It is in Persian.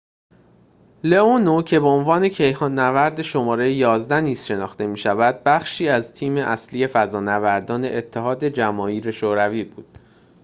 لئونوو که به عنوان کیهان نورد شماره ۱۱ نیز شناخته می شود بخشی از تیم اصلی فضانوردان اتحاد جماهیر شوروی بود